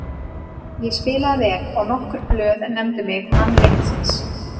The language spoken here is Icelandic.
Ég spilaði vel og nokkur blöð nefndu mig mann leiksins.